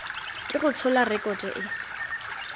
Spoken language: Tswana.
ke go tshola rekoto e